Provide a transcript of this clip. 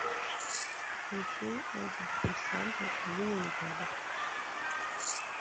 включи антидепрессанты ленинграда